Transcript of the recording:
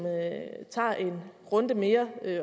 tager en runde mere